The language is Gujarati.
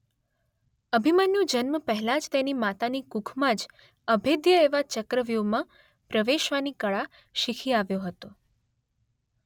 અભિમન્યુ જન્મ પહેલાં જ તેની માતાની કુખમાં જ અભેદ્ય એવા ચક્રવ્યુહમાં પ્રવેશવાની કળા શીખી આવ્યો હતો